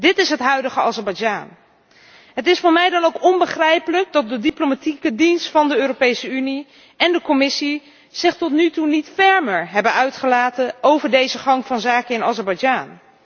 Dit is het huidige Azerbeidzjan! Het is voor mij dan ook onbegrijpelijk dat de diplomatieke dienst van de Europese Unie en de Commissie zich tot nu toe niet fermer hebben uitgelaten over deze gang van zaken in Azerbeidzjan.